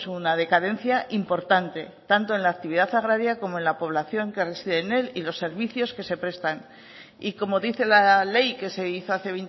una decadencia importante tanto en la actividad agraria como en la población que reside en él y los servicios que se prestan y como dice la ley que se hizo hace